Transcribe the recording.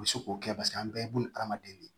U bɛ se k'o kɛ paseke an bɛɛ ye bunahadamaden de ye